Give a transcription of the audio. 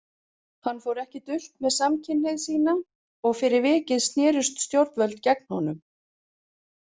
Hann fór ekki dult með samkynhneigð sína og fyrir vikið snerust stjórnvöld gegn honum.